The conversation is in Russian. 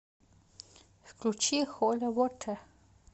включи холи вотэ